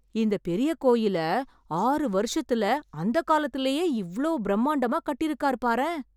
இந்த பெரிய கோயில ஆறு வருஷத்துல அந்த காலத்திலேயே இவ்ளோ பிரம்மாண்டமா கட்டிருக்காரு பாரேன்.